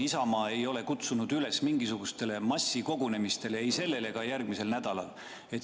Isamaa ei ole kutsunud üles mingisugustele massikogunemistele ei sellel ega järgmisel nädalal.